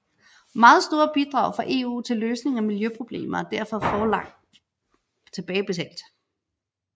Meget store bidrag fra EU til løsning af miljøproblemer er derfor forlangt tilbagebetalt